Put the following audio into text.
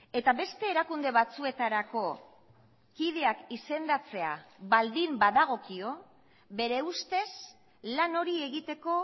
eta beste erakunde batzuetarako kideak izendatzea baldin badagokio bere ustez lan hori egiteko